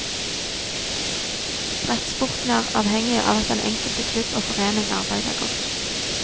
Brettsporten er avhengig av at den enkelte klubb og forening arbeider godt.